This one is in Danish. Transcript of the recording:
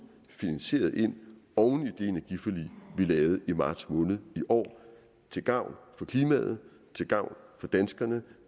finansieret ind oven i det energiforlig vi lavede i marts måned i år til gavn for klimaet til gavn for danskerne